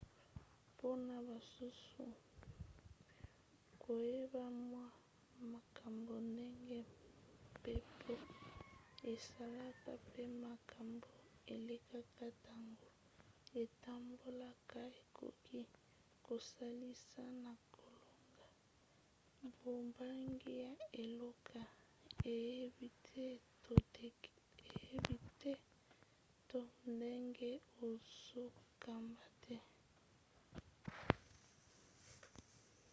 mpona basusu koyeba mwa makambo ndenge mpepo esalaka pe makambo elekaka ntango etambolaka ekoki kosalisa na kolonga bobangi ya eloko oyebi te to ndenge ozokamba te